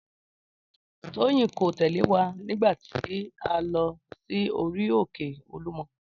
Tóyìn kò tẹ̀lé wa nígbà tí a lọ sí orí òkè Olúmọ